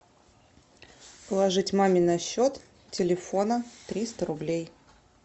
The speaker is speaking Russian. положить маме на счет телефона триста рублей